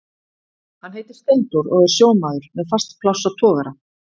Hann heitir Steindór og er sjómaður með fast pláss á togara.